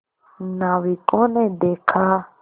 नाविकों ने देखा